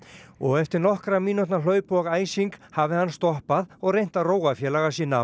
og eftir nokkurra mínútna hlaup og æsing hafi hann stoppað og reynt að róa félaga sína